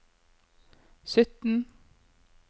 sytten